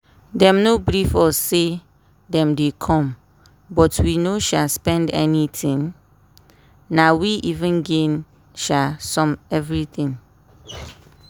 dem no brief us say dem dey come but we no sha spend anything na we even gain um everything.